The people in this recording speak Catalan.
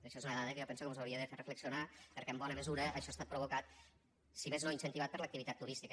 això és una dada que jo penso que mos hauria de fer reflexionar perquè en bona mesura això ha estat provocat si més no incentivat per l’activitat turística